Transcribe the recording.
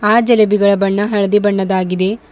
ಆ ಜಿಲೇಬಿಗಳ ಬಣ್ಣ ಹಳದಿ ಬಣ್ಣದಾಗಿದೆ.